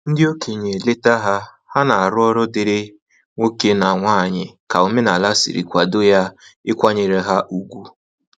Ndị okenye leta ha, ha na arụ ọrụ diri nwoke na nwanyị ka omenala sịrị kwado ya ịkwanyere ha ùgwù